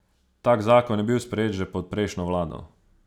Tak zakon je bil sprejet že pod prejšnjo vlado.